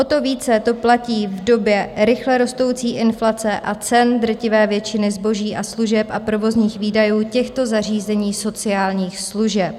O to více to platí v době rychle rostoucí inflace a cen drtivé většiny zboží a služeb a provozních výdajů těchto zařízení sociálních služeb.